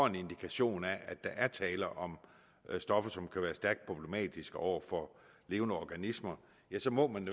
en indikation af at der er tale om stoffer som kan være stærkt problematiske over for levende organismer så må man